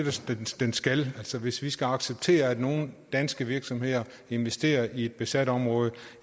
den skal hvis vi skal acceptere at nogle danske virksomheder investerer i et besat område